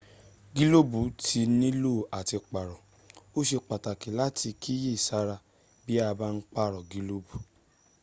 gílóòbù tí nílò à ti pààrọ̀. o sé pàtàkì láti kíyè sára bí a bá ń pààrọ̀ gílòbù